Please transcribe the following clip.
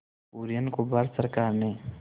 कुरियन को भारत सरकार ने